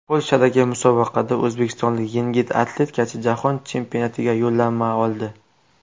Polshadagi musobaqada o‘zbekistonlik yengil atletikachi jahon chempionatiga yo‘llanma oldi.